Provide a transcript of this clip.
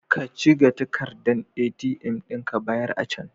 Ka ciga takardan ATM ɗin ka bayar a can.